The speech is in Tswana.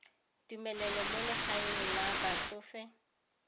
tumelelo mo legaeng la batsofe